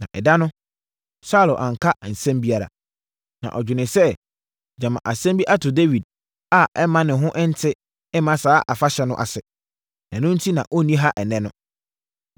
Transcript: Na ɛda no, Saulo anka asɛm biara. Na ɔdwenee sɛ, “Gyama asɛm bi ato Dawid a ɛmma ne ho nte mma saa afahyɛ no ase. Ɛno enti na ɔnni ha ɛnnɛ no.”